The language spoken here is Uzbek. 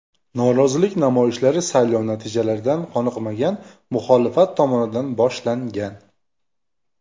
Norozilik namoyishlari saylov natijalaridan qoniqmagan muxolifat tomonidan boshlangan.